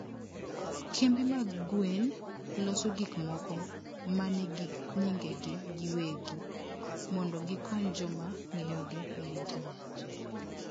kembe mag gwen loso gik moko ma nigi nyingegi giwegi mondo gikony joma ng'iyogi e intanet.